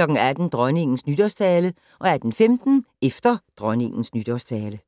18:00: Dronningens Nytårstale 18:15: Efter Dronningens Nytårstale